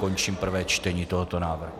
Končím prvé čtení tohoto návrhu.